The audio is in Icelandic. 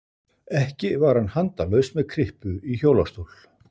Ekki var hann handalaus með kryppu í hjólastól.